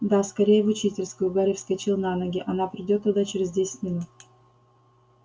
да скорее в учительскую гарри вскочил на ноги она придёт туда через десять минут